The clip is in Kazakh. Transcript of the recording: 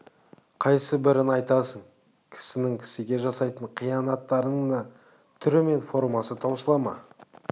қайсыбірін айтасың кісінің кісіге жасайтын қиянаттарының түрі мен формасы таусыла ма